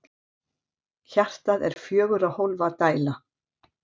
hjartað er fjögurra hólfa dæla